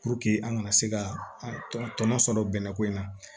Puruke an kana se ka tɔnɔ tɔnɔ sɔrɔ bɛnɛ ko in na